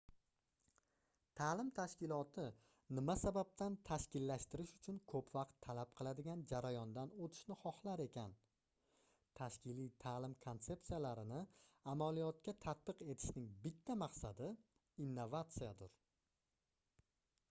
taʼlim tashkiloti nima sababdan tashkillashtirish uchun koʻp vaqt talab qiladigan jarayondan oʻtishni xohlar ekan tashkiliy taʼlim konsepsiyalarini amaliyotga tatbiq etishning bitta maqsadi innovatsiyadir